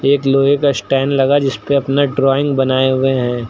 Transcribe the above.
एक लोहे का स्टैंड लगा जिसपे अपने ड्रॉइंग बनाए हुए हैं।